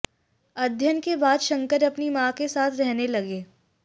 अध्ययन के बाद शंकर अपनी मां के साथ रहने लगे